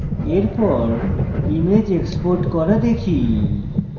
এরপর image export করা শিখি